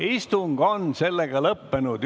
Istung on lõppenud.